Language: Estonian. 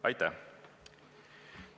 Aitäh!